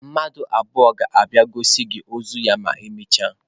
Mmadụ abụọ ga-abịa gosi gị ozu ya ma emechaa.